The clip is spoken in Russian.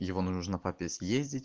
его нужно папе съездить